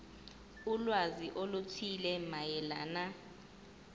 ulwazi oluthile mayelana